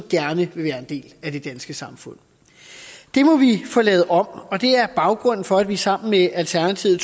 gerne vil være en del af det danske samfund det må vi få lavet om og det er baggrunden for at vi sammen med alternativet